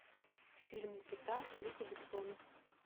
фильм никита люка бессона